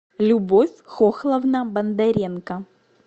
любовь хохловна бондаренко